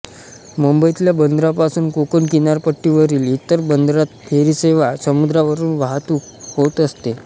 मुंबईतल्या बंदरांपासून कोकण किनारपट्टीवरील इतर बंदरात फेरीसेवा समुद्रावरून वाहतूक होत असते